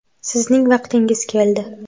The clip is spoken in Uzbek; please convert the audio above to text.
Sizning vaqtingiz keldi.